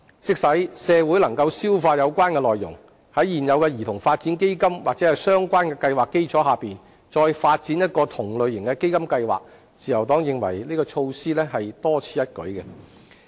即使社會能夠消化有關內容，但在現有兒童發展基金或相關計劃的基礎上再發展一項同類型的基金計劃，自由黨認為這項措施屬多此一舉。